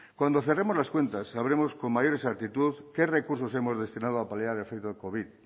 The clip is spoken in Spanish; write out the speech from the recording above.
cuando cerremos las cuentas sabremos con mayor exactitud qué recursos hemos destinado a paliar el efecto del covid